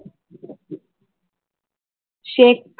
ஷேக்